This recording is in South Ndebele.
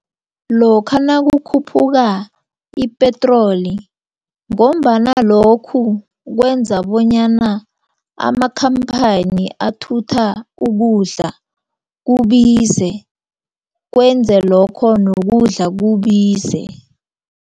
Lokha nakukhuphuka ipetroli ngombana lokhu kwenza bonyana amakhamphani athutha ukudla kubize kwenze lokho nokudla kubize.